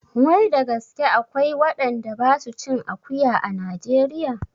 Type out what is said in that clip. Wai da gaske akwai waɗanda ba su cin akuya a najeriya?